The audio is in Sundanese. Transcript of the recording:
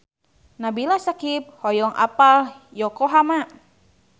Nabila Syakieb hoyong apal Yokohama